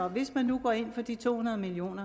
hvis man går ind for de to hundrede million